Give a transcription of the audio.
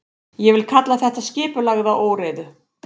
Ég vil kalla þetta skipulagða óreiðu.